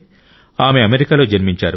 ఆమె అమెరికాలో జన్మించారు